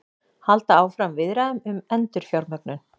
Halda áfram viðræðum um endurfjármögnun